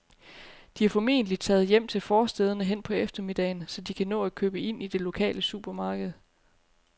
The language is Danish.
De er formentlig taget hjem til forstæderne hen på eftermiddagen, så de kan nå at købe ind i det lokale supermarked.